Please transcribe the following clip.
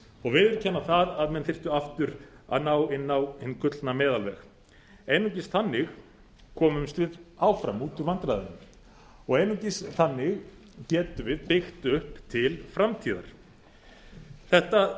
og viðurkenna að menn þyrftu aftur að ná inn á hinn gullna meðalveg einungis þannig komumst við áfram út úr vandræðunum og einungis þannig getum við byggt upp til framtíðar þetta